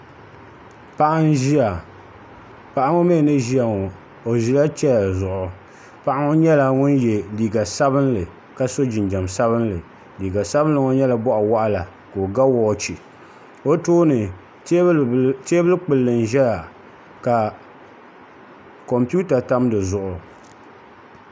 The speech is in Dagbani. Paɣa n ʒiya paɣa ŋo mii ni ʒiya ŋo o ʒila chɛya zuɣu paɣa ŋo nyɛla ŋun yɛ liiga sabinli ka so jinjɛm sabinli liiga sabinli ŋo nyɛla boɣa waɣala ka o ga woochi o tooni teebuli kpulli n ʒɛya ka kompiuta tam di zuɣu